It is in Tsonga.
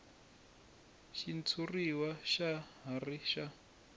xitshuriwa xa ha ri na